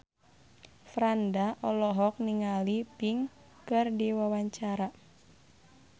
Franda olohok ningali Pink keur diwawancara